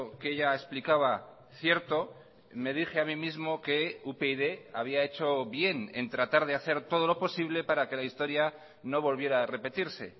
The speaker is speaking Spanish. que ella explicaba cierto me dije a mí mismo que upyd había hecho bien en tratar de hacer todo lo posible para que la historia no volviera a repetirse